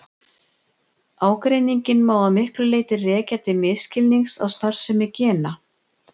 Ágreininginn má að miklu leyti rekja til misskilnings á starfsemi gena.